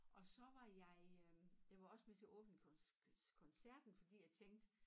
Og så var jeg øh jeg var også med til åbningskoncerten fordi jeg tænkte